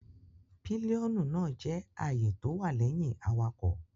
Pílíọ́nù náà jẹ́ àyè tó wà lẹ́yìn awakọ̀